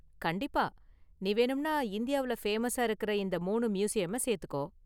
கண்டிப்பா! நீ வேணும்னா இந்தியாவுல ஃபேமஸா இருக்கிற இந்த மூனு மியூசியம சேத்துக்கோ.